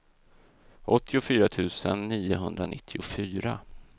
åttiofyra tusen niohundranittiofyra